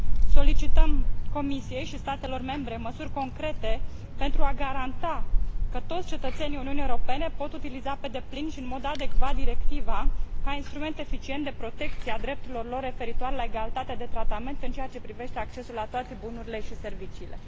Solicităm Comisiei și statelor membre să ia măsuri concrete pentru a garanta că toți cetățenii Uniunii Europene pot utiliza pe deplin și în mod adecvat directiva, ca instrument eficient de protecție a drepturilor lor referitoare la egalitatea de tratament în ceea ce privește accesul la toate bunurile și serviciile.